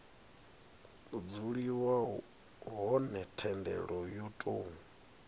dzuliwa hone thendelo yo tou